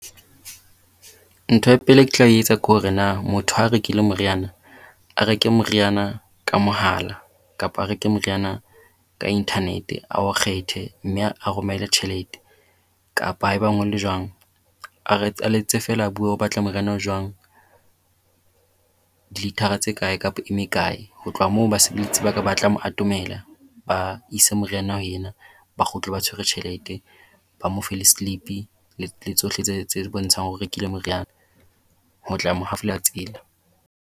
Ntho ya pele e ke tla etsa ke hore na motho ha rekile moriana a reke moriana ka mohala kapa a reke moriana ka internet, a o kgethe mme a romele tjhelete. Kapa e bang ho le jwang a letse feela a bue o batla moriana o jwang dilitara tse kae kapa e mekae. Ho tloha moo basebeletsi ba ka ba tla mo atomela ba ise moriana ho ena ba kgutle ba tshwere tjhelete, ba mo fe le slip-i le le tsohle tse tse re bontshang hore o rekile moriana ho tla mo hafola tsela.